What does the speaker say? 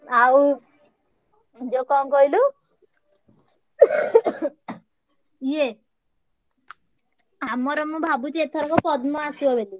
ଆଉ ଯୋଉ କଣ କହିଲୁ ଇଏ ଆମର ମୁଁ ଭାବୁଛି ଏଇଥରକ ପଦ୍ମ ଆସିବ ବୋଲି।